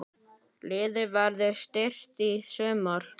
Liðið verður styrkt í sumar.